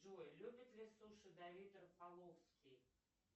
джой любит ли суши давид рофоловский